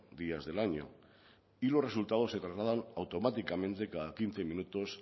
días del año y los resultados se trasladan automáticamente cada quince minutos